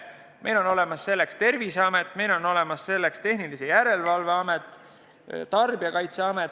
Meil on olemas selleks Terviseamet, meil on olemas selleks Tehnilise Järelevalve Amet ja Tarbijakaitseamet.